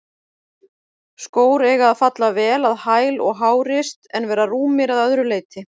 Skór eiga að falla vel að hæl og hárist, en vera rúmir að öðru leyti.